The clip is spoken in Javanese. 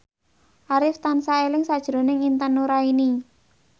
Arif tansah eling sakjroning Intan Nuraini